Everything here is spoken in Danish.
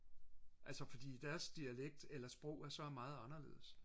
altså fordi deres dialekt eller sprog er så meget anderledes